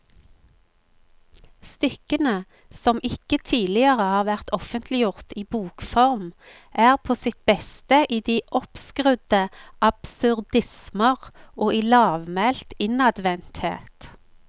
Stykkene, som ikke tidligere har vært offentliggjort i bokform, er på sitt beste i de oppskrudde absurdismer og i lavmælt innadvendthet.